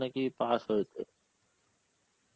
নাকি pass হয়েছে.